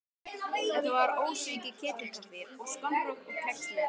Þetta var ósvikið ketilkaffi og skonrok og kex með.